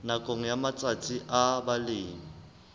nakong ya matsatsi a balemi